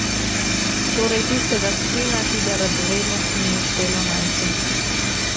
Torej tistega plina, ki ga Radovednosti ni uspelo najti.